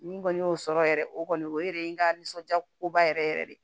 Ni n kɔni y'o sɔrɔ yɛrɛ o kɔni o yɛrɛ ye n ka nisɔndiya ko ba yɛrɛ yɛrɛ de ye